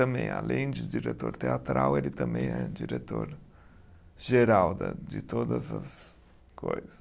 Também, além de diretor teatral, ele também é diretor geral de todas as coisas.